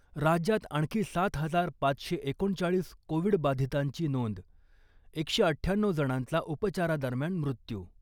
राज्यात आणखी सात हजार पाचशे एकोणचाळीस कोविड बाधितांची नोंद , एकशे अठ्ठ्याण्णऊ जणांचा उपचारादरम्यान मृत्यू .